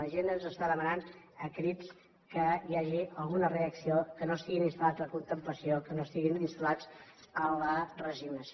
la gent ens està demanant a crits que hi hagi alguna reacció que no estiguin installats en la contemplació que no estiguin instal·lats en la resignació